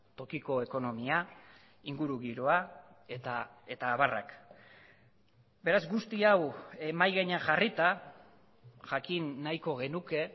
tokiko ekonomia ingurugiroa eta abarrak beraz guzti hau mahai gainean jarrita jakin nahiko genuke